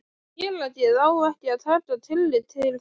félagið á ekki að taka tillit til þeirra.